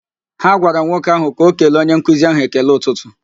Ha gwara nwoke ahụ ka o kele onye nkuzi ahụ ekele ụtụtụ